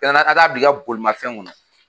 ka taa bila i ka bolimafɛn kɔnɔ